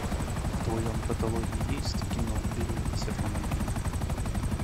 в твоем каталоге есть кино берегись автомобиля